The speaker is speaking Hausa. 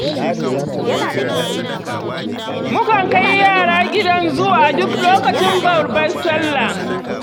Mukan kai yara gidan zu a duk lokacin babbar sallah.